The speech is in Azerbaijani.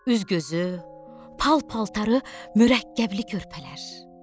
Üz-gözü pal-paltarı mürəkkəbli körpələr.